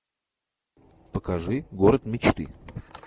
покажи город мечты